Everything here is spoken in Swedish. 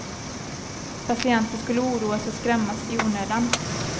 Patienter skulle oroas och skrämmas i onödan.